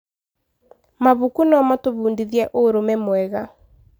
Mabuku no matũbundithie ũrũme mwega.